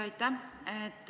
Aitäh!